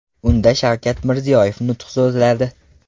Unda Shavkat Mirziyoyev nutq so‘zladi.